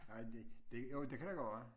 Nej det det jo det kan da godt være